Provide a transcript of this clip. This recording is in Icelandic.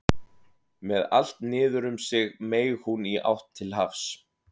Með allt niður um sig meig hún í átt til hafs.